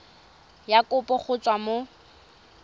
ya kopo go tswa mo